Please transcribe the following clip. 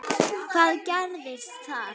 Hvað gerðist þar?